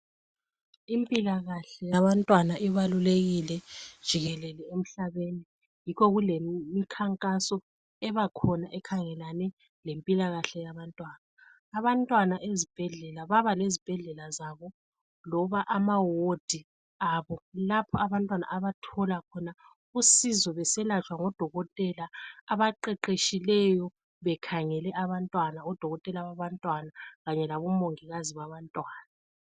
Impilakahle yabantwana ibalulekile jikelele emhlabeni, yikho kulemkhankaso ebakhona ekhangelelane lempilakahle yabantwana. Abantwana ezibhedlela baba lezibhedlela zabo loba amawodi abo, lapho abantwana abathola khona usizo beselatshwa ngo dokotela abaqeqetshileyo bekhangele abantwana. Odokotela baba ntwana kanye labo mongikazi baba ntwana.